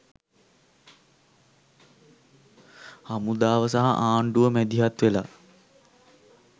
හමුදාව සහ ආණ්ඩුව මැදිහත් වෙලා